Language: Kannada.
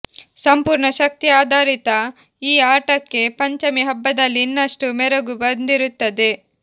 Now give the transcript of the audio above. ಸಂಪೂರ್ಣ ಶಕ್ತಿ ಆಧಾರಿತ ಈ ಆಟಕ್ಕೆ ಪಂಚಮಿ ಹಬ್ಬದಲ್ಲಿ ಇನ್ನಷ್ಟು ಮೆರಗು ಬಂದಿರುತ್ತದೆ